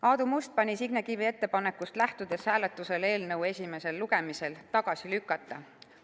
Aadu Must pani Signe Kivi ettepanekust lähtudes hääletusele eelnõu esimesel lugemisel tagasi lükata.